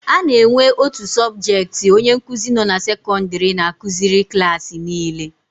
A na-enwe otu sọbjetị onye nkuzi nọ na sekọndịrị na-akụziri klaasị niile.